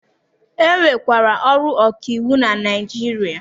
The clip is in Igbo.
E nwekwara ọrụ ọka iwu na Naịjirịa.